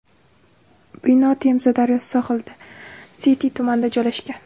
Bino Temza daryosi sohilida, Siti tumanida joylashgan.